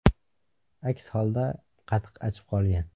Aks holda qatiq achib qolgan.